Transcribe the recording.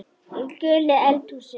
Í gulu eldhúsi